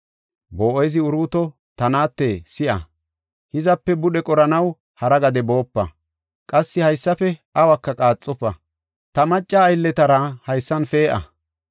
Boo7ezi Uruuto, “Ta naate si7a; hizape budhe qoranaw hara gade boopa. Qassi haysafe awuka qaaxofa. Ta macca aylletara haysan pee7a.